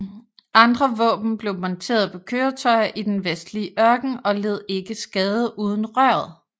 Andre våben blev monteret på køretøjer i den vestlige ørken og led ikke skade uden røret